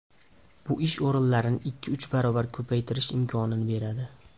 Bu ish o‘rinlarini ikki-uch barobar ko‘paytirish imkonini beradi.